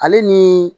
Ale ni